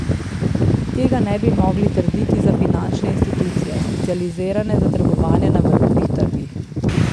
Tega ne bi mogli trditi za finančne institucije, specializirane za trgovanje na valutnih trgih.